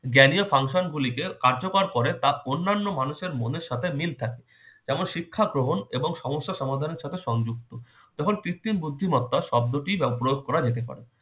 জ্ঞানীয় function গুলিকে কার্যকর করে তার অন্যান্য মানুষের মনের সাথে মিল থাকে, যেমন- শিক্ষা গ্রহণ এবং সমস্যা সমাধানের সাথে সংযুক্ত, যেমন- কৃত্রিম বুদ্ধিমত্তা শব্দটি প্রয়োগ করা যেতে পারে।